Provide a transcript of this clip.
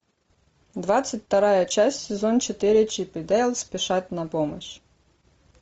двадцать вторая часть сезон четыре чип и дейл спешат на помощь